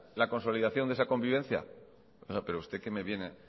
la consolidación de esa convivencia oiga pero usted qué me viene